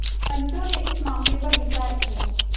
पंचो ने इस मामले पर विचार किया